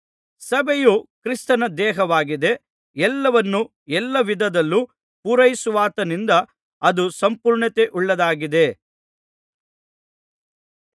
ಸಭೆಯು ಕ್ರಿಸ್ತನ ದೇಹವಾಗಿದೆ ಎಲ್ಲವನ್ನೂ ಎಲ್ಲಾ ವಿಧದಲ್ಲೂ ಪೂರೈಸುವಾತನಿಂದ ಅದು ಸಂಪೂರ್ಣತೆಯುಳ್ಳದ್ದಾಗಿದೆ